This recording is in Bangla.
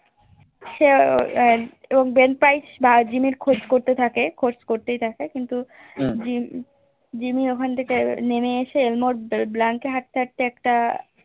সেও বেনফ্রিজ বা জিম্মি খোঁজ করতে থাকে খোঁজ করতেই থাকে কিন্তু জিম্মি ওখান থেকে নেমে এসে হাটতে তে হাটতে তে একটা